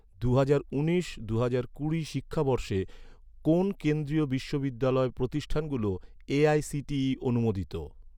দুহাজার উনিশ দুহাজার কুড়ি শিক্ষাবর্ষে, কোন কেন্দ্রীয় বিশ্ববিদ্যালয় প্রতিষ্ঠানগুলো এ.আই.সি.টি.ই অনুমোদিত?